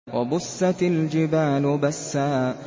وَبُسَّتِ الْجِبَالُ بَسًّا